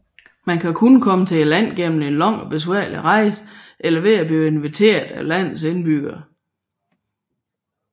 Man kan kun komme til landet gennem en lang og besværlig rejse eller ved at blive inviteret af landets indbyggere